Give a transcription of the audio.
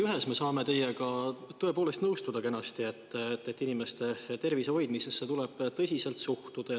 Ühes me saame teiega tõepoolest kenasti nõustuda: inimeste tervise hoidmisesse tuleb tõsiselt suhtuda.